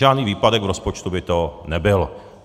Žádný výpadek v rozpočtu by to nebyl.